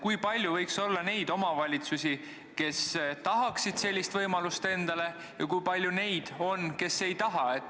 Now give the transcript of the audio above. Kui palju võiks olla neid omavalitsusi, kes tahaksid sellist võimalust, ja kui palju on neid, kes ei taha?